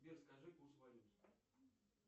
сбер скажи курс валют